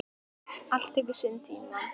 Allt tekur sinn tíma.